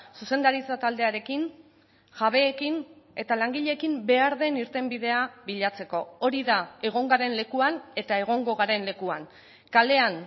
zuzendaritza taldearekin jabeekin eta langileekin behar den irtenbidea bilatzeko hori da egon garen lekuan eta egongo garen lekuan kalean